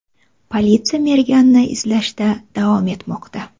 Politsiya merganni izlashda davom etmoqda.